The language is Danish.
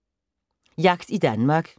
Jagt i Danmark